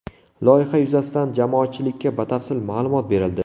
Loyiha yuzasidan jamoatchilikka batafsil ma’lumot berildi.